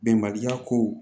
Bɛnbaliya ko